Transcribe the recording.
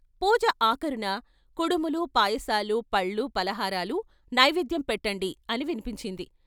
పూజ ఆఖరున " కుడుములు, పాయసాలు, పళ్ళు, ఫలహారాలు నైవేద్యం పెట్టండి " అని విన్పించింది.